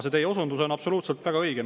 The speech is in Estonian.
See teie osundus on absoluutselt õige.